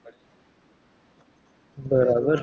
બરાબર